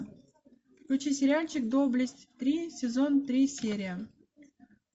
включи сериальчик доблесть три сезон три серия